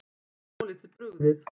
Var svolítið brugðið